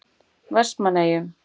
Vestmannaeyjum